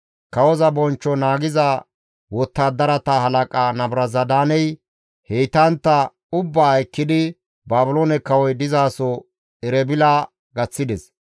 Kawoza bonchcho naagiza wottadarata halaqa Nabuzaradaaney heytantta ubbaa ekkidi Baabiloone kawoy dizaso Erebila gaththides.